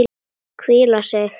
Hvíla sig.